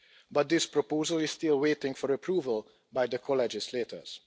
But this proposal is still waiting for approval by the co legislators.